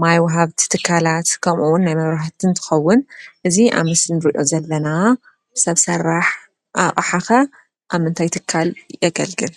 ማይ ዋሃብቲ ትካላት ከምኡውን ናይ መብራህቲ እንትኸውን እዚ ኣብ ምስሊ ንሪኦ ዘለና ሰብ ስራሕ ኣቕሓ ኸ ኣብ ምንታይ ትካል የገልግል?